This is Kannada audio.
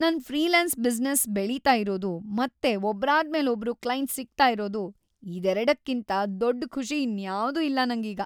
ನನ್‌ ಫ್ರೀಲಾನ್ಸ್‌ ಬಿಸ್ನೆಸ್‌ ಬೆಳೀತಾ ಇರೋದು ಮತ್ತೆ ಒಬ್ರಾದ್ಮೇಲೊಬ್ರು ಕ್ಲೈಂಟ್ಸ್ ಸಿಗ್ತಾ ಇರೋದು, ಇದೆರಡಕ್ಕಿಂತ ದೊಡ್‌ ಖುಷಿ ಇನ್ಯಾವ್ದೂ ಇಲ್ಲ ನಂಗೀಗ.